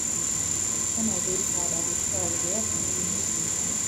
wen i dey sad i dey cry e dey help me release di pain